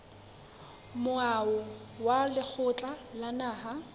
moaho wa lekgotla la naha